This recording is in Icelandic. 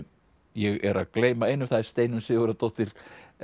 ég er að gleyma einu það er Steinunn Sigurðardóttir